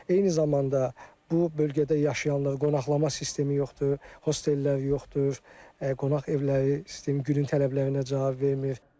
Eyni zamanda bu bölgədə yaşayanlar, qonaqlama sistemi yoxdur, hostellər yoxdur, qonaq evləri sistem günün tələblərinə cavab vermir.